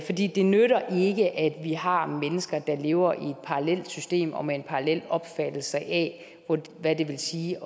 det nytter ikke at vi har mennesker der lever i et parallelt system og med en parallel opfattelse af hvad det vil sige